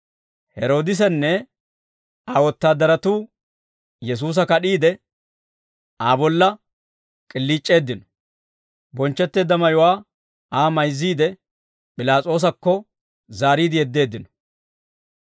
Heroodisenne Aa wotaadaratuu Yesuusa kad'iide, Aa bolla k'iliic'eeddino. Bonchchetteedda mayuwaa Aa mayzziide, P'ilaas'oosakko zaariide yeddeeddino.